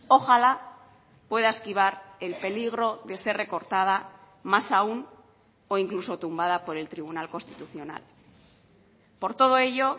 ojalá pueda esquivar el peligro de ser recortada más aún o incluso tumbada por el tribunal constitucional por todo ello